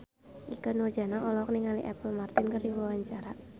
Ikke Nurjanah olohok ningali Apple Martin keur diwawancara